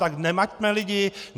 Tak nemaťme lidi.